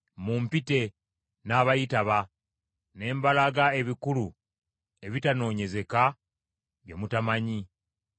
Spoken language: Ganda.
‘Mumpite n’abayitaba ne mbalaga ebikulu ebitanoonyezeka bye mutamanyi.’